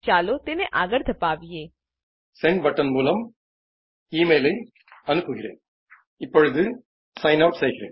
ચાલો તેને આગળ ધપાવીએ રેકોર્ડીંગ શરુ થાય છે